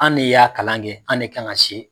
An ne y'a kalankɛ, an ne kan ka se